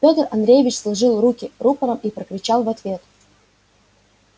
пётр андреевич сложил руки рупором и прокричал в ответ